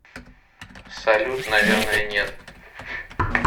салют наверное нет